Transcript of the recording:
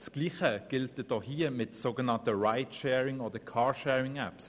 Dasselbe gilt auch für die sogenannten Ridesharing- oder Car-Sharing-Apps: